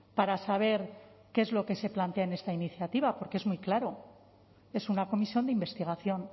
para saber qué es lo que se plantea en esta iniciativa porque es muy claro es una comisión de investigación